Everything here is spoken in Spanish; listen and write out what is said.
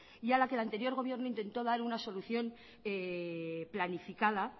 y a la que el anterior gobierno intentó dar una solución planificada